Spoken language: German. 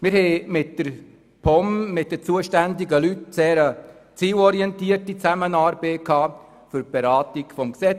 Wir führten mit den zuständigen Leuten der POM eine sehr zielorientierte Zusammenarbeit für die Beratung des Gesetzes.